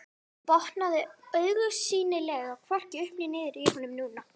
Botnaði augsýnilega hvorki upp né niður í honum núna.